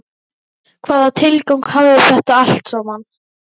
Hvaða tilgang hafði þetta allt saman?